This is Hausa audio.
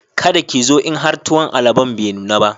Kada ki zo in har tuwon alobon be nuna ba